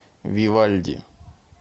вивальди